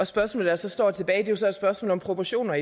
spørgsmål der så står tilbage er i virkeligheden et spørgsmål om proportioner